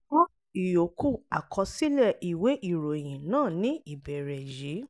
kọ́ ìyókù àkọsílẹ̀ ìwé ìròyìn náà ní ìbẹ̀rẹ̀ yìí